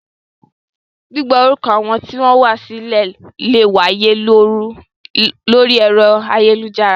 Gbígba orúkọ àwọn tí ó wá sílẹ̀ lè wáyé lórí ẹ̀rọ ayélujára